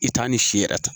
I t'a ni si yɛrɛ ta